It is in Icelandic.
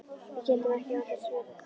Við gætum ekki án þess verið